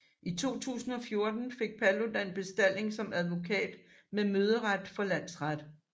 I 2014 fik Paludan bestalling som advokat med møderet for landsret